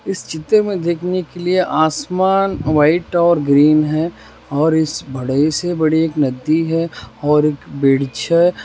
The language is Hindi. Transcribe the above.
इस चित्र में देखने के लिए आसमान व्हाइट और ग्रीन है और इस बड़े से बड़े एक नद्दी है और बिच हैं।